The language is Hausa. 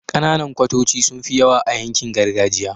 Kananan kwatoci sunfi yawa a yankin gargajiya